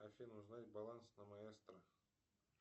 афина узнать баланс на маэстро